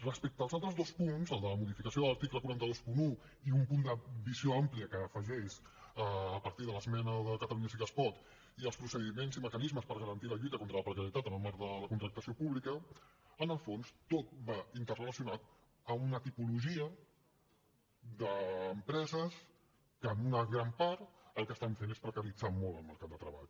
respecte als altres dos punts el de la modificació de l’article quatre cents i vint un i un punt de visió àmplia que s’afegeix a partir de l’esmena de catalunya sí que es pot i els procediments i mecanismes per garantir la lluita contra la precarietat en el marc de la contractació pública en el fons tot va interrelacionat amb una tipologia d’empreses que en una gran part el que estan fent és precaritzar molt el mercat de treball